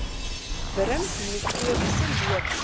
wurms mikrobiese lewe